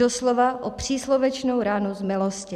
Doslova i příslovečnou ránu z milosti.